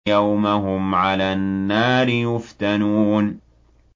يَوْمَ هُمْ عَلَى النَّارِ يُفْتَنُونَ